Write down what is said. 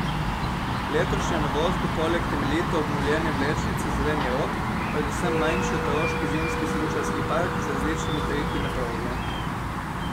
Letošnja novost bo poleg temeljito obnovljene vlečnice Zeleni rob predvsem manjši otroški zimski smučarski park z različnimi triki na progi.